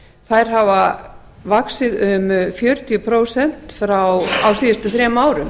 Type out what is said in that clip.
þær hafa vaxið um fjörutíu prósent á síðustu þrem árum